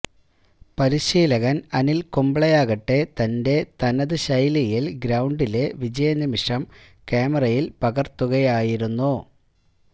പരിശീലകന് അനില് കുംബ്ലെയാകട്ടെ തന്റെ തനത് ശൈലിയില് ഗ്രൌണ്ടിലെ വിജയ നിമിഷം ക്യാമറയില് പകര്ത്തുകയായിരുന്നു